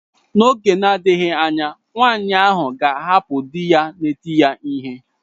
N'oge na-adịghị anya nwaanyị ahụ ga-ahapụ di ya na-eti ya ihe.